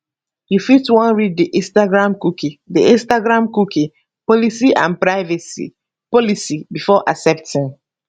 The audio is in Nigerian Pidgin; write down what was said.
you fit wan read di instagramcookie di instagramcookie policyandprivacy policybefore accepting